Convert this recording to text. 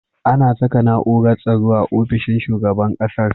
Ana Saka na'urar tsaro a ofishin shugaban ƙasar